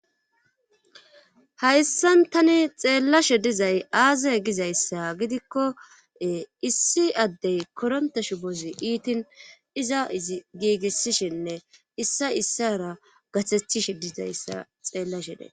hayssan tani xeellashe dizay aaze gizayssa gidikko issi addey koronta shubozi iitin iza giigissishinne issa issara gaththethishe dizayssa xeellashe days